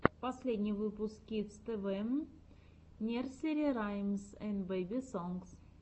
последний выпуск кидс тэ вэ нерсери раймс энд бэби сонгс